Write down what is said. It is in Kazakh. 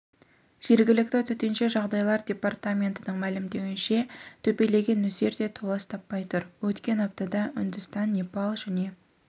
жергілікті төтенше жағдайлар департаментінің мәлімдеуінше төпелеген нөсер де толас таппай тұр өткен аптада үндістан непал және